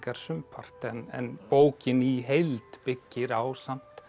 sumpart en bókin í heild byggir á samt